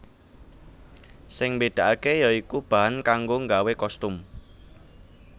Sing mbedakake ya iku bahan kanggo nggawe kostum